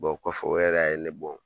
kɔfɛ, o yɛrɛ ya ye a ye ne bɔ.